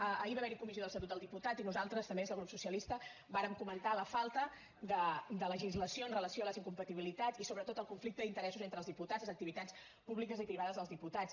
ahir va haver hi comissió de l’estatut dels diputats i nosaltres també des del grup socialista vàrem comentar la falta de legislació amb relació a les incompatibilitats i sobretot al conflicte d’interessos entre els diputats les activitats públiques i privades dels diputats